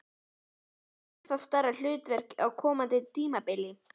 Fá þeir ennþá stærra hlutverk á komandi tímabili?